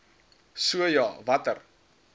so ja watter